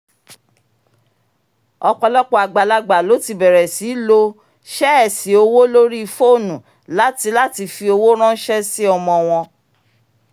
ọ̀pọ̀lọpọ̀ àgbàlagbà ló ti bẹ̀rẹ̀ sí í lò sẹ́ẹ̀sì owó lórí fónù láti láti fi owó ranṣẹ́ sí ọmọ wọn